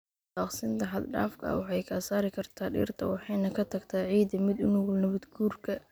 Daaqsinta xad dhaafka ah waxay ka saari kartaa dhirta waxayna ka tagtaa ciidda mid u nugul nabaad guurka.